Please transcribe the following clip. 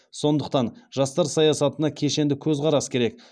сондықтан жастар саясатына кешенді көзқарас керек